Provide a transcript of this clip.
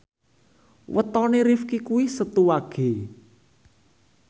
wetone Rifqi kuwi Setu Wage